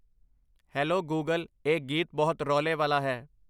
Hello Google ਇਹ ਗੀਤ ਬਹੁਤ ਰੌਲੇ ਵਾਲਾ ਹੈ।